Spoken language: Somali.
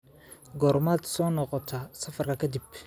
Goormaad soo noqotaa safarka ka dib?